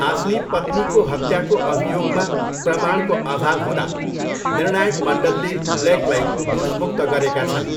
आफ्नी पत्नीको हत्याको अभियोगमा प्रमाणको अभाव हुँदा निर्णायक मण्डलले ब्लेकलाई दोषमुक्त गरेका छन्।